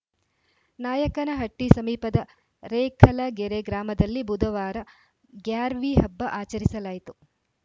ನಾಯಕನಹಟ್ಟಿಸಮೀಪದ ರೇಖಲಗೆರೆ ಗ್ರಾಮದಲ್ಲಿ ಬುಧವಾರ ಗ್ಯಾರ್ವಿ ಹಬ್ಬ ಆಚರಿಸಲಾಯಿತು